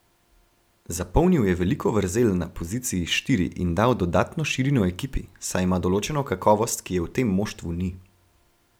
Zapolnil je veliko vrzel na poziciji štiri in dal dodatno širino ekipi, saj ima določeno kakovost, ki je v tem moštvu ni.